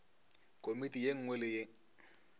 komiti ye nngwe le ye